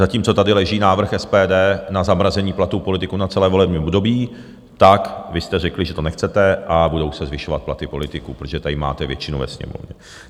Zatímco tady leží návrh SPD na zamrazení platů politiků na celé volební období, tak vy jste řekli, že to nechcete, a budou se zvyšovat platy politiků, protože tady máte většinu ve Sněmovně.